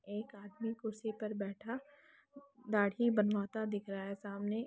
एक आदमी कुर्सी पर बैठा दाढ़ी बनवाता दिख रहा है सामने।